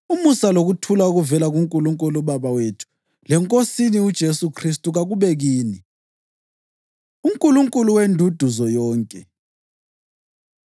Umusa lokuthula okuvela kuNkulunkulu uBaba wethu leNkosini uJesu Khristu kakube kini. UNkulunkulu Wenduduzo Yonke